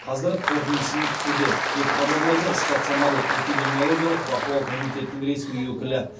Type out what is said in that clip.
қазір қорытындысын күтуде деп хабарлайды стационарлық эпидемиологиялық бақылау комитетінің ресми өкілі